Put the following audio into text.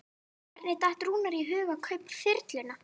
Hvernig datt Rúnari í hug að kaupa þyrluna?